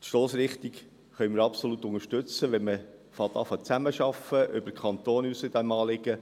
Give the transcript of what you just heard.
Die Stossrichtung können wir absolut unterstützen, wenn man beginnt, über den Kanton hinaus in diesem Anliegen zusammenzuarbeiten.